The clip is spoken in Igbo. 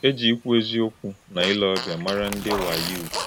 É jì̄ íkwú̄ èzì̄ọ̀kwú̄ na ìlè̄ ọ̀bíà̄ màrá̄ ndị́ Wayuu.